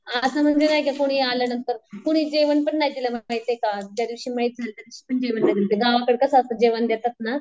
असं म्हणजे नाहीका कुणी आल्यांनंतर कुणी जेवण पण नाही दिलं माहिती का ज्या दिवशी मयत झाले गावाकडं कसं असतं जेवण देतात ना.